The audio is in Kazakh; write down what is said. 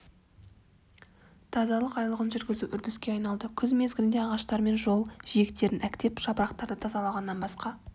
тазалық айлығын жүргізу үрдіске айналды күз мезгілінде ағаштар мен жол жиектерін әктеп жапырақтарды тазалағаннан басқа